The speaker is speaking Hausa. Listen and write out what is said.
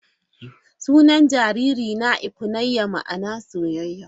Sunan jaririna 'Ifunanya' ma'ana soyayya.